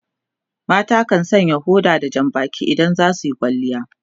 mata kan Sanya powder da Jan Baki idan za suyi kwalliya